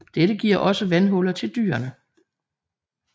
Dette giver også vandhuller til dyrene